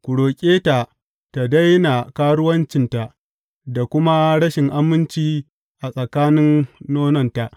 Ku roƙe ta tă daina karuwancinta da kuma rashin aminci a tsakanin nononta.